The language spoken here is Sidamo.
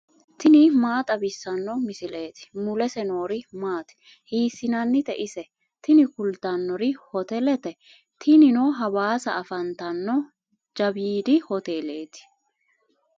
tini maa xawissanno misileeti ? mulese noori maati ? hiissinannite ise ? tini kultannori hotelete. tinino hawaasa afantanno jawiidi hoteleeti.